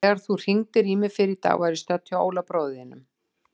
Þegar þú hringdir í mig fyrr í dag var ég stödd hjá Óla bróður þínum.